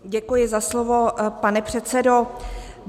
Děkuji za slovo, pane předsedo.